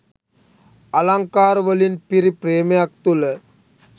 අලංකාර වලින් පිරි ප්‍රේමයක් තුල